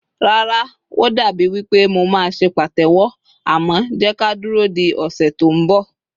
Rara, o dabi wipe mo ma se patewo, amo jeka duro di ose to nbo